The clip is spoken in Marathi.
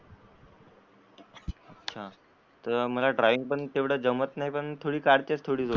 अच्छा तर मला ड्रॉईंग तेवढं जमत नाही पण थोडी काढते थोडी बहुत, अच्छा.